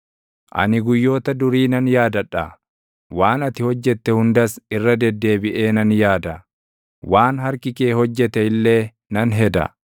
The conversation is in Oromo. Ani guyyoota durii nan yaadadha; waan ati hojjette hundas irra deddeebiʼee nan yaada; waan harki kee hojjete illee nan heda.